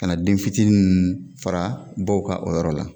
Kana den fitinin fara baw ka, o yɔrɔ la.